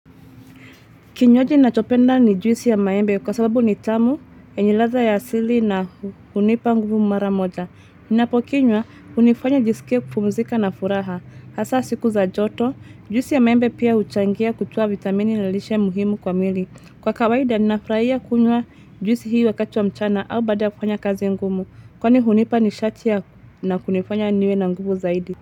Kinywaji nachopenda ni juisi ya maembe kwa sababu ni tamu, yenye ladha ya asili na hunipa nguvu mara moja. Ninapokinywa, hunifanya nijisikie kupumzika na furaha. Hasa siku za joto, juisi ya maembe pia huchangia kutoa vitamini na lishe muhimu kwa mwili. Kwa kawaida, ninafurahia kunywa juisi hii wakati wa mchana au baada kufanya kazi ngumu. Kwani hunipa nishati ya na kunifanya niwe na nguvu zaidi.